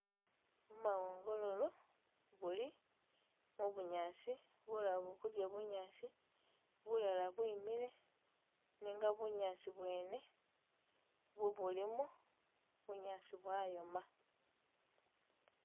Bumawongololo buli mu bunyaasi bulala buli kudya bunyaasi, bulala bwimile, nenga bunyaasi bwene bwobulimu bunyaasi bwayoma.